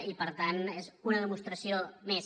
i per tant és una demostració més